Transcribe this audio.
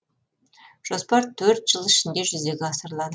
жоспар төрт жыл ішінде жүзеге асырылады